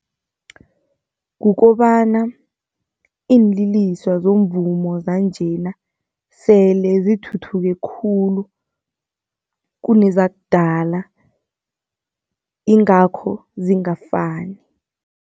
Kukobana iinliliswa zomvumo zanjena sele zithuthuke khulu, kunezakudala ingakho zingafani.